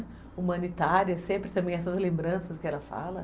Humanitária, sempre também essas lembranças que ela fala.